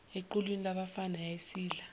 equlwini labafana yayisidla